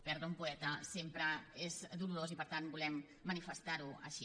perdre un poeta sempre és dolorós i per tant volem manifestar ho així